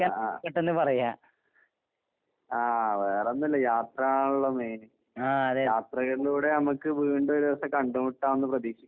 അഹ് അഹ്. ആഹ് വേറൊന്നും ഇല്ല. യാത്രയാണല്ലോ മെയിന്. യാത്രകളിലൂടെ നമുക്ക് വീണ്ടും ഒരു ദിവസം കണ്ട് മുട്ടാംന്ന് പ്രതീക്ഷിക്കുന്നു.